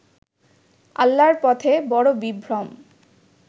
আল্লাহর পথে বড় বিভ্রম